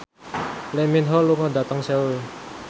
Lee Min Ho lunga dhateng Seoul